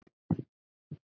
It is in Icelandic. Heldur, í dag!